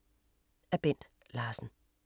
Af Bent Larsen